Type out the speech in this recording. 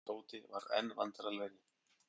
Tóti varð enn vandræðalegri.